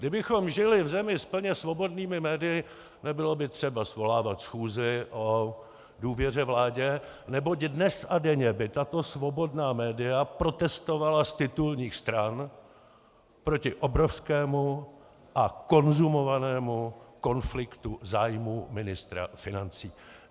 Kdybychom žili v zemi s plně svobodnými médii, nebylo by třeba svolávat schůzi o důvěře vládě, neboť dnes a denně by tato svobodná média protestovala z titulních stran proti obrovskému a konzumovanému konfliktu zájmů ministra financí.